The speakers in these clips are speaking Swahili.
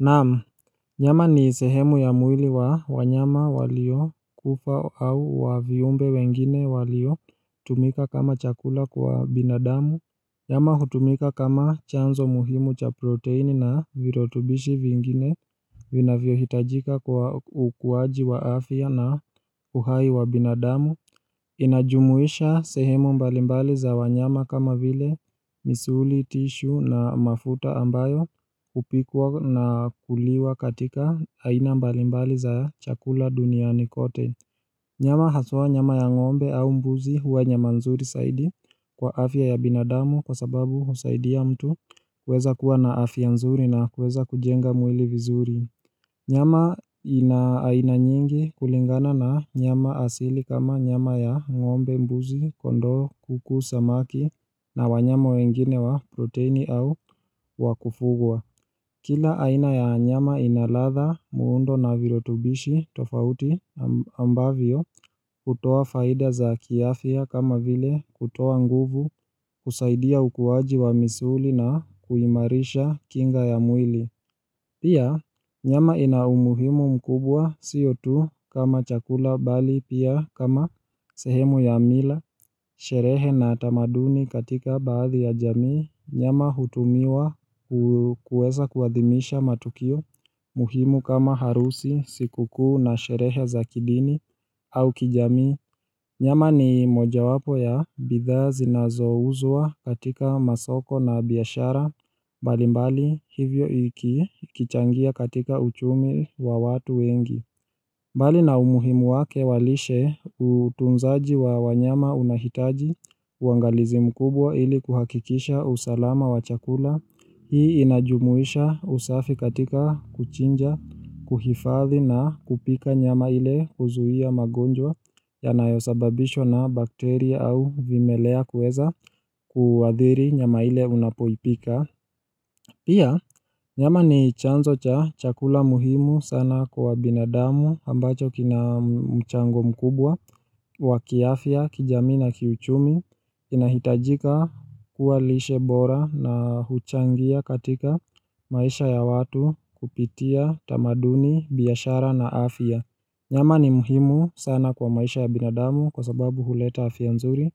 Naam, nyama ni sehemu ya mwili wa wanyama waliokufa au wa viumbe wengine walio tumika kama chakula kwa binadamu Nyama hutumika kama chanzo muhimu cha proteini na virutubishi vingine vinavyo hitajika kwa ukuaji wa afya na uhai wa binadamu inajumuisha sehemu mbalimbali za wanyama kama vile misuli tishu na mafuta ambayo hupikwa na kuliwa katika aina mbalimbali za chakula duniani kote Nyama haswa nyama ya ngombe au mbuzi huwa nyama nzuri zaidi kwa afya ya binadamu kwa sababu husaidia mtu kuweza kuwa na afya nzuri na kuweza kujenga mwili vizuri Nyama ina aina nyingi kulingana na nyama asili kama nyama ya ngombe mbuzi, kondoo, kuku, samaki na wanyama wengine wa protein au wakufugwa. Kila aina ya nyama inaladha muundo na virutubishi tofauti ambavyo hutoa faida za kiafya kama vile kutoa nguvu kusaidia ukuwaji wa misuli na kuimarisha kinga ya mwili. Pia, nyama ina umuhimu mkubwa sio tu kama chakula bali pia kama sehemu ya mila, sherehe na utamaduni katika baadhi ya jamii, nyama hutumiwa kuweza kuadhimisha matukio, muhimu kama harusi, sikukuu na sherehe za kidini au kijamii. Nyama ni moja wapo ya bidhaa zinazouzwa katika masoko na biashara, mbalimbali hivyo iki kichangia katika uchumi wa watu wengi. Bali na umuhimu wake wa lishe utunzaji wa wanyama unahitaji, uangalizi mkubwa ili kuhakikisha usalama wa chakula. Hii inajumuisha usafi katika kuchinja, kuhifadhi na kupika nyama ile huzuia magonjwa yanayo sababishwa na bakteria au vimelea kueza kuadhiri nyama ile unapoipika. Pia, nyama ni chanzo cha chakula muhimu sana kwa binadamu ambacho kina mchango mkubwa, wa kiafya, kijamii na kiuchumi, kinahitajika kuwa lishe bora na huchangia katika maisha ya watu kupitia tamaduni, biashara na afya. Nyama ni muhimu sana kwa maisha ya binadamu kwa sababu huleta afya nzuri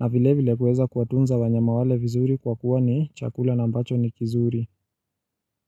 na vile vile kueza kuwatunza wa nyama wale vizuri kwa kuwa ni chakula na ambacho ni kizuri.